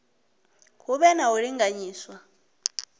hu vhe na u linganyiswa